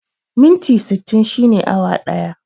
Minti sittin shine awa ɗaya